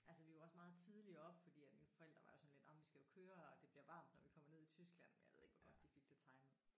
Altså vi var også meget tidligt oppe fordi at mine forældre var jo sådan lidt jamen vi skal jo køre og det bliver varmt når vi kommer ned i Tyskland men jeg ved ikke hvor godt de fik det timet